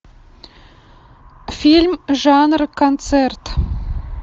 фильм жанра концерт